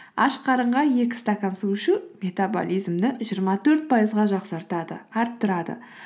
аш қарынға екі стакан су ішу метобализмді жиырма төрт пайызға жақсартады арттырады